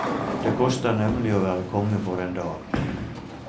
Det koster nemlig å være konge for en dag.